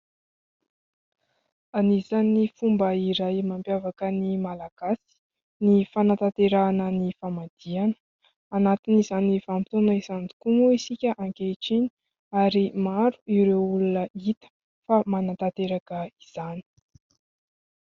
Anisany fomba iray mampiavaka ny Malagasy ny fanatanterahana ny famadiana ; anatin'izany vanim-potoana izany tokoa moa isika ankehitriny ary maro ireo olona hita fa manantanteraka izany.